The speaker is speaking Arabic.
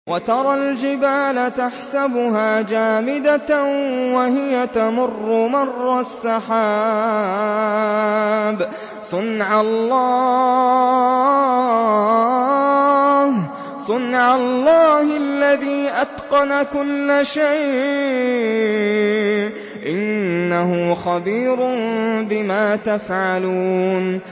وَتَرَى الْجِبَالَ تَحْسَبُهَا جَامِدَةً وَهِيَ تَمُرُّ مَرَّ السَّحَابِ ۚ صُنْعَ اللَّهِ الَّذِي أَتْقَنَ كُلَّ شَيْءٍ ۚ إِنَّهُ خَبِيرٌ بِمَا تَفْعَلُونَ